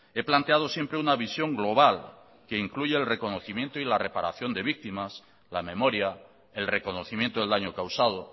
he planteado siempre una visión global que incluya el reconocimiento y la reparación de víctimas la memoria el reconocimiento del daño causado